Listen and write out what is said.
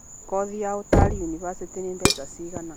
Kothi ya ũtari yunivathĩtĩ nĩ mbeca cigana?